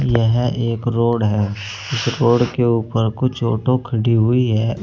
यह एक रोड है इस रोड के ऊपर कुछ ऑटो खड़ी हुई है।